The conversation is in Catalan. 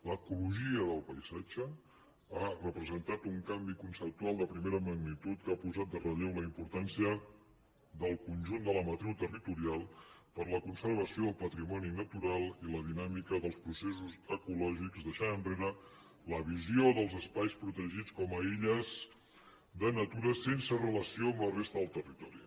l’ecologia del paisatge ha representat un canvi conceptual de primera magnitud que ha posat en relleu la importància del conjunt de la matriu territorial per a la conservació del patrimoni natural i la dinàmica dels processos ecològics i ha deixat enrere la visió dels espais protegits com a illes de natura sense relació amb la resta del territori